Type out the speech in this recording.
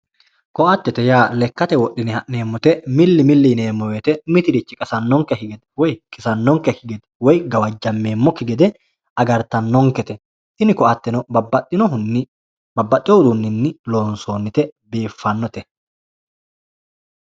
koatete yaa lekkate wodhine ha'neemmote milli milli yineemmo woyte mitirichi qasanonkekki gede woyi kisanonkekki gede woyi gawajameemmoki gede agartanonkete tinni koateno babbaxinohunni ,babbaxewo uduuninni loonsonnite biifanote.